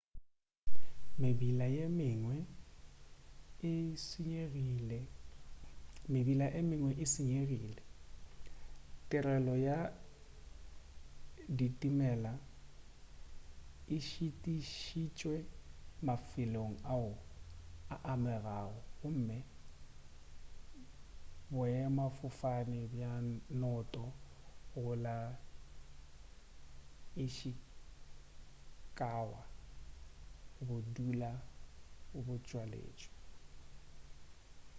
mebila ye mengwe e senyegile tirelo ya ditimela e šitišitšwe mafelong ao a amegago gomme boemafofane bja noto go la ishikawa bo dula bo tswaletšwe